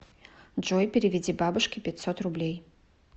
джой переведи бабушке пятьсот рублей